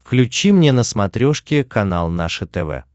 включи мне на смотрешке канал наше тв